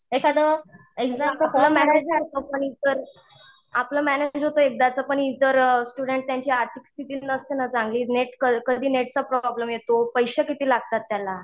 एखादं एक्झाम आपलं मॅनेज होतं एकदाचं पण इतर स्टूडेंट त्यांची आर्थिक स्थिती नसते ना चांगली नेट कधी नेटचा प्रॉब्लेम येतो. पैसे किती लागतात त्याला